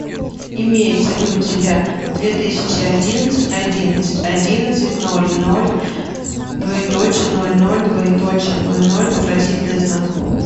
имеется ли у тебя две тысячи одиннадцать одиннадцать одиннадцать ноль ноль двоеточие ноль ноль двоеточие ноль ноль вопросительный знак